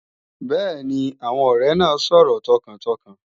Bẹ́ẹ̀ni, àwọn ọrẹ́ naay sọ̀rọ̀ tọkàntọkàn